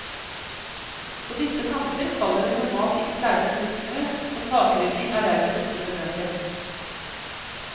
På disse kanter faller det normalt ikke særlig mye snø, og takrydding er derfor ikke nødvendig.